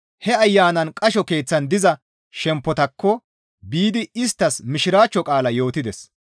He ayanaan qasho keeththan diza shemppotaakko biidi isttas Mishiraachcho qaalaa yootides.